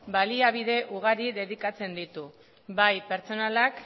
baliabide ugari dedikatzen ditu bai pertsonalak